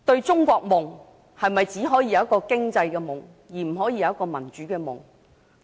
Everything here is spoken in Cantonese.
"中國夢"是否只可以是一個經濟夢，而不可以是一個民主夢？